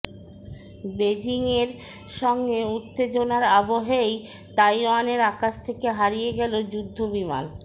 বেজিংয়ের সঙ্গে উত্তেজনার আবহেই তাইওয়ানের আকাশ থেকে হারিয়ে গেল যুদ্ধবিমান